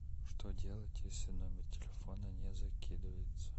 что делать если номер телефона не закидывается